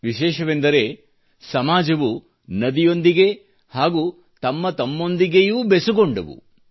ವಿಶೇಷವೆಂದರೆ ಸಮಾಜವು ನದಿಯೊಂದಿಗೆ ಹಾಗೂ ತಮ್ಮತಮ್ಮೊಂದಿಗೆಯೂ ಬೆಸುಗೊಂಡವು